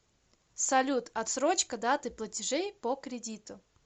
салют острочка даты платежей по кредиту